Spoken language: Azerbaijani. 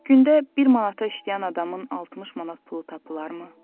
Gündə bir manata işləyən adamın 60 manat pulu tapılarmı?